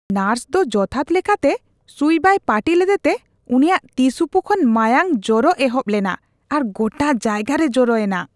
Nurse ᱫᱚ ᱡᱚᱛᱷᱟᱛ ᱞᱮᱠᱟᱛᱮ ᱥᱩᱭ ᱵᱟᱭ ᱯᱟᱹᱴᱤ ᱞᱮᱫᱛᱮ ᱩᱱᱤᱭᱟᱜ ᱛᱤ ᱥᱩᱯᱩ ᱠᱷᱚᱱ ᱢᱟᱭᱟᱝ ᱡᱚᱨᱚᱜ ᱮᱦᱚᱯ ᱞᱮᱱᱟ ᱟᱨ ᱜᱚᱴᱟ ᱡᱟᱭᱜᱟ ᱨᱮ ᱡᱚᱨᱚᱭ ᱮᱱᱟ ᱾